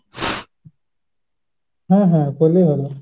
হ্যাঁ হ্যাঁ করলেই ভালো।